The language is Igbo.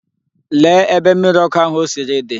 Lee ebe mmiri ọkụ ahụ o siri di!